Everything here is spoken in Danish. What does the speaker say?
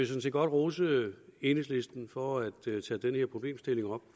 set godt rose enhedslisten for at tage den her problemstilling op